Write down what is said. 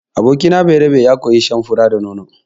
Abokina Bayerabe ya koyi shan fura da nono.